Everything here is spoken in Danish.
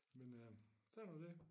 Men øh sådan er det